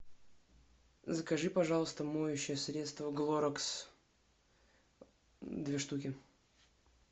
закажи пожалуйста моющее средство глорекс две штуки